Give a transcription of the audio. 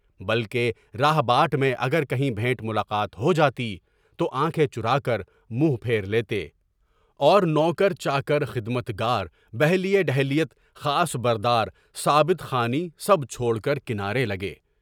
بلکہ راہِ باٹ میں اگر کہیں بہنت ملاقات ہو جاتی تو آنکھیں چُھرا کر منہ پھیر لیتے، اور نوکر چاکر، خدمت گار، پہلے ڈھولیا، خاص بردار، ثابت خانی سب چھوڑ کر کنارے لگے۔